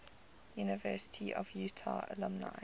university of utah alumni